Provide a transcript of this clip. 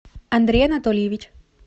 андрей анатольевич